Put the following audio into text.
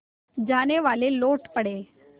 जानेवाले लौट पड़े